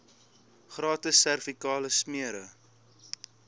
gratis servikale smere